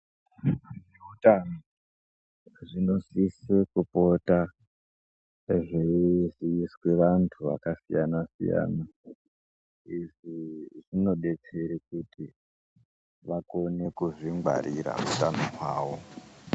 Zviro zveutano zvinosisa kupota zveiziiswe vantu vakasiyana siyana ,izvi zvinodetsere kuti vakone kuzvingwarira utano hwavo.